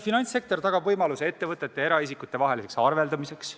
Finantssektor tagab võimaluse ettevõtete ja eraisikute vaheliseks arveldamiseks.